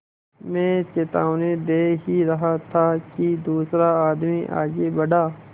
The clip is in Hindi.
मैं चेतावनी दे ही रहा था कि दूसरा आदमी आगे बढ़ा